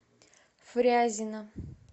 фрязино